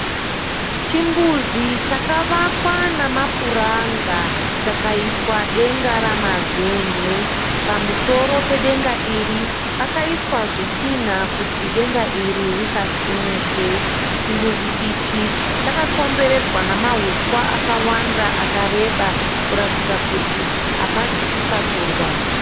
Chimbuzi chakavakwa nemapuranga chikaiswa denga remazen'e pamusoro pedenga iri pakaiswa zvitina kuti denga risasumuke. Chimbuzi ichi chakakomberedzwa nemahuswa akawanda akareba kuratidza kuti hapasi kusakurwa.